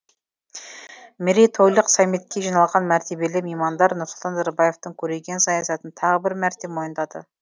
мейрейтойлық саммитке жиналған мәртебелі меймандар нұрсұлтан назарбаевтың көреген саясатын тағы бір мәрте мойындады